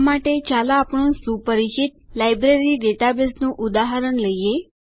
આ માટે ચાલો આપણું સુપરિચિત લાઈબ્રેરી ડેટાબેઝનું ઉદાહરણ લઈએ